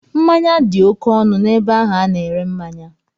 Mmanya dị oké ọnụ n'ebe ahụ a na-ere mmanya.